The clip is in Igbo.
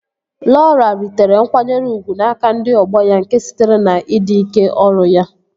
Lọra ritere nkwanyere ugwu n'aka ndị ọgbọ ya nke sitere na ịdị ike ọrụ ya